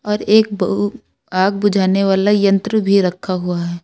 और एक आग बुझाने वाला यंत्र भी रखा हुआ है।